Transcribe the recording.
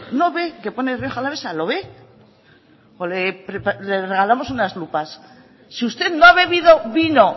no ve que pone rioja alavesa lo ve o le regalamos unas lupas si usted no ha bebido vino